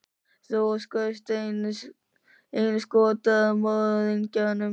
Þú skaust einu skoti að morðingjanum.